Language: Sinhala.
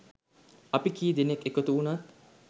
අපි කී දෙනෙක් එකතු උණත්